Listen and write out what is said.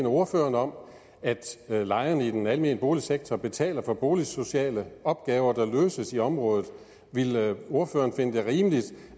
ordføreren om at lejerne i den almene boligsektor betaler for boligsociale opgaver der løses i området ville ordføreren finde det rimeligt